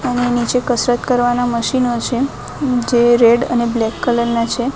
અને નીચે કસરત કરવાના મશીનો છે જે રેડ અને બ્લેક કલર ના છે.